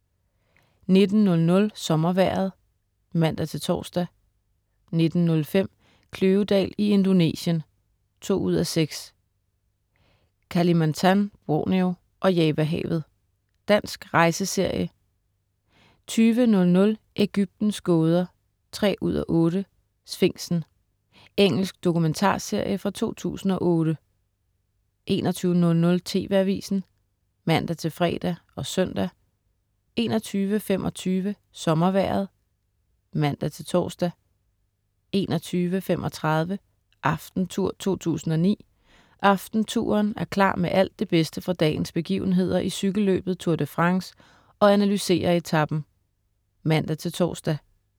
19.00 Sommervejret (man-tors) 19.05 Kløvedal i Indonesien 2:6. Kalimantan/Borneo og Javahavet. Dansk rejseserie 20.00 Ægyptens gåder 3:8. Sfinksen. Engelsk dokumentarserie fra 2008 21.00 TV Avisen (man-fre og søn) 21.25 SommerVejret (man-tors) 21.35 Aftentour 2009. "Aftentouren" er klar med alt det bedste fra dagens begivenheder i cykelløbet Tour de France og analyserer etapen (man-tors)